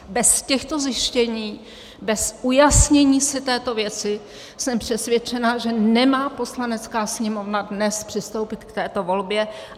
Bez těchto zjištění, bez ujasnění si této věci jsem přesvědčena, že nemá Poslanecká sněmovna dnes přistoupit k této volbě.